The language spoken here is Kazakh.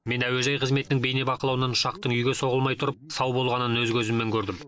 мен әуежай қызметінің бейнебақылауынан ұшақтың үйге соғылмай тұрып сау болғанын өз көзіммен көрдім